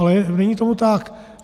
Ale není tomu tak.